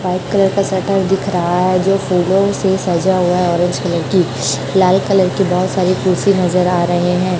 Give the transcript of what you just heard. White colour का shutter दिख रहा है जो फूलों से सजा हुआ है ऑरेंज कलर की लाल कलर की बहोत सारी कुर्सी नज़र आ रहे है।